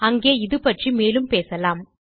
அங்கே இது பற்றி மேலும் பேசலாம்